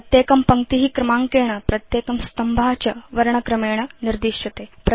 प्रत्येकं पङ्क्ति क्रमाङ्केण प्रत्येकं स्तम्भ च वर्णक्रमेण निर्दिश्यते